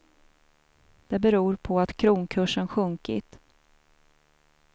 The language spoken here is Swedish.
Det beror på att kronkursen sjunkit.